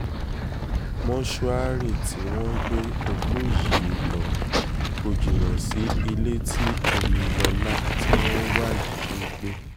mòṣùárì tí wọ́n gbé òkú yìí lọ kò jìnnà sí ilé tí oyinnimọ́lá tí wọ́n ń wá yìí ń gbé